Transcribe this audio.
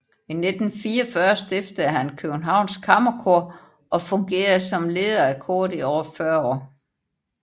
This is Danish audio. I 1944 stiftede han Københavns Kammerkor og fungerede som leder af koret i over 40 år